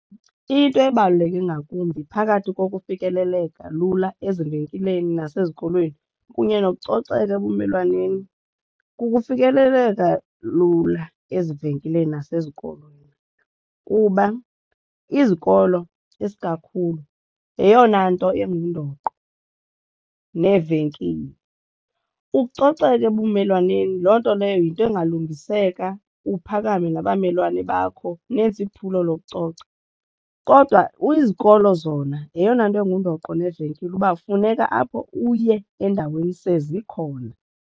Into ebaluleke ingakumbi phakathi kokufikeleleka lula ezivenkileni nasezikolweni kunye nokucoceka ebumelwaneni kukufikeleleka lula ezivenkileni nasezikolweni kuba izikolo isikakhulu yeyona nto ingundoqo neevenkile. Ukucoceka ebumelwaneni loo nto leyo yinto engalungiseka uphakame nabamelwane bakho nenze iphulo lokucoca, kodwa izikolo zona yeyona nto engundoqo neevenkile uba funeka apho uye endaweni sezikhona.